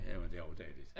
Jamen der er også dejligt